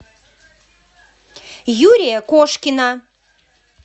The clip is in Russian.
юрия кошкина